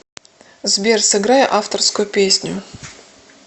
сбер сыграй авторскую песню